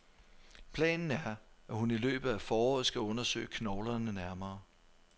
Planen er, at hun i løbet af foråret skal undersøge knoglerne nærmere.